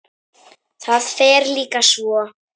Það fer líka svo.